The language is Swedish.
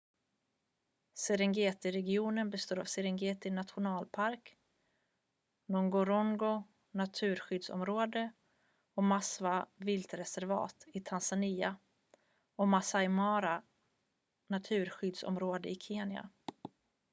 serengetiregionen består av serengeti nationalpark ngorongoro naturskyddsområde och maswa viltreservat i tanzania och maasai mara naturskyddsområde i kenya